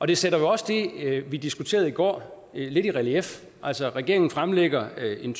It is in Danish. det sætter jo også det vi diskuterede i går lidt i relief altså regeringen har fremlagt en